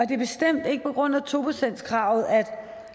det er bestemt ikke på grund af to procentskravet at